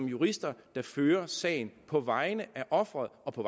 jurister der fører sagen på vegne af ofret og for